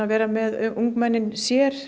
vera með ungmennin sér